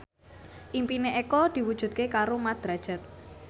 impine Eko diwujudke karo Mat Drajat